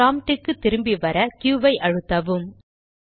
prompt க்கு திரும்பி வர க்யூq ஐ அழுத்தவும்